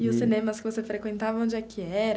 E os cinemas que você frequentava, onde é que era?